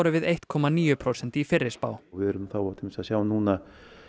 við eitt komma níu prósent í fyrri spá við erum að sjá núna